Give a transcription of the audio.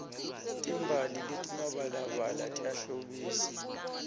timbali letimabalabala tiyahlobisa